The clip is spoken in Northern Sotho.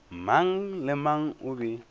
mang le mang o be